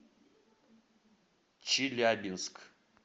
челябинск